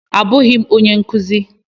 Abụghị m onye nkuzi.